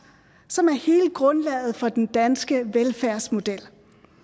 som er hele grundlaget for den danske velfærdsmodel velfærdsmodel